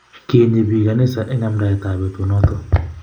Kinyi biik kanisa eng amdaet ab betut noto